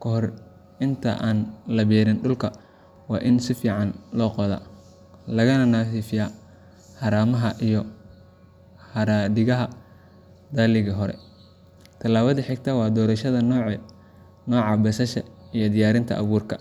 Kahor inta aan la beerin, dhulka waa in si fiican loo qodaa, lagana nadiifiyaa haramaha iyo haraadiga dalaggii hore. Tallaabada xigta waa doorashada nooca basasha iyo diyaarinta abuurka.